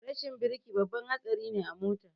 Rashin birki babban hatsari a mota